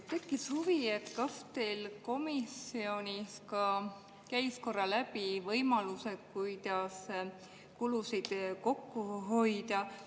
Tekkis huvi, kas komisjonis käisid korra läbi ka võimalused, kuidas kulusid kokku hoida.